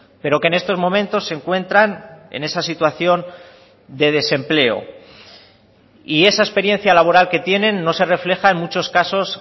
pero que en estos momentos se encuentran en esa situación de desempleo y esa experiencia laboral que tienen no se refleja en muchos casos